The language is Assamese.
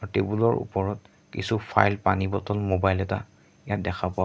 টেবুল ৰ ওপৰত কিছু ফাইল পানী বটল মোবাইল এটা ইয়াত দেখা পোৱা গ--